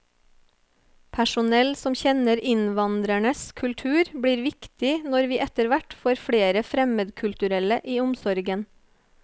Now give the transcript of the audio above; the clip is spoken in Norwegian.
Personell som kjenner innvandrernes kultur blir viktig når vi etterhvert får flere fremmedkulturelle i omsorgen.